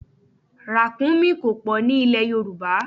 Ràkúnmí kò pọ̀ ní ilè Yorùbá.